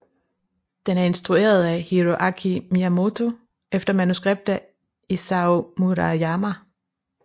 Den er instrueret af Hiroaki Miyamoto efter manuskript af Isao Murayama